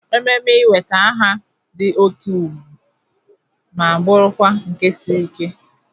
Ememe ị nweta aha dị oke egwu ma bụrụkwa nke siri ike.